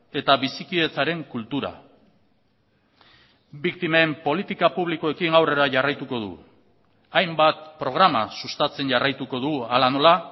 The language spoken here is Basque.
eta bizikidetzaren kultura biktimen politika publikoekin aurrera jarraituko dugu hainbat programa sustatzen jarraituko dugu hala nola